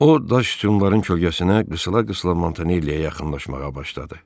O daş sütunların kölgəsinə qısıla-qısıla Montanelliyə yaxınlaşmağa başladı.